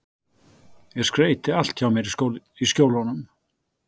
Ég skreyti allt hjá mér í Skjólunum.